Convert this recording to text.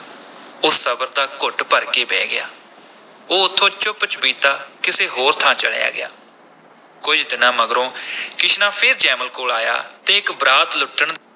ਉਹ ਸਬਰ ਦਾ ਘੁੱਟ ਭਰ ਕੇ ਬਹਿ ਗਿਆ, ਉਹ ਉਥੋਂ ਚੁੱਪ-ਚੁਪੀਤਾ ਕਿਸੇ ਹੋਰ ਥਾਂ ਚਲਿਆ ਗਿਆ, ਕੁਝ ਦਿਨਾਂ ਮਗਰੋਂ ਕਿਸ਼ਨਾ ਫੇਰ ਜੈਮਲ ਕੋਲ ਆਇਆ ਤੇ ਇਕ ਬਰਾਤ ਲੁੱਟਣ